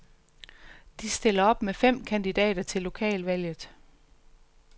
De stiller op med fem kandidater til lokalvalget.